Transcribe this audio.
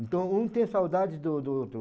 Então, um tem saudade do do do